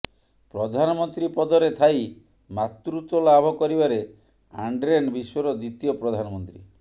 ପ୍ରଧାନମନ୍ତ୍ରୀ ପଦରେ ଥାଇ ମାତୃତ୍ୱ ଲାଭ କରିବାରେ ଆଣ୍ଡ୍ରେନ୍ ବିଶ୍ୱର ଦ୍ୱିତୀୟ ପ୍ରଧାନମନ୍ତ୍ରୀ